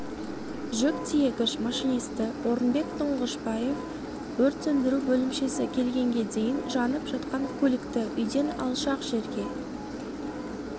жүк тиегіш машинисті орынбек тұңғышбаев өрт сөндіру бөлімшесі келгенге дейін жанып жатқан көлікті үйден алшақ жерге